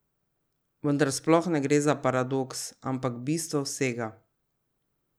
Vendar sploh ne gre za paradoks, ampak bistvo vsega.